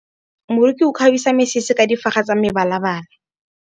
Moroki o kgabisa mesese ka difaga tsa mebalabala.